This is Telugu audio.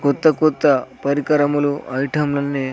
కొత్త కొత్త పరికరములు ఐటం లన్నీ--